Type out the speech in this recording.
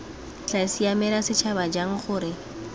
tla siamela setšhaba jang gore